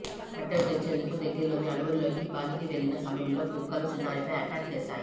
కట్టెలు తెచ్చేందుకు దగ్గరలోని అడవుల్లోకి బాలికి వెళ్లిన సమయంలో కుక్కలు చిన్నారిపై అటాక్ చేశాయి